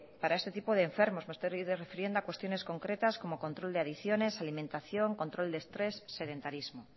para este tipo de enfermos me estoy refiriendo a cuestiones concretas como control de adicciones alimentación control de estrés sedentarismo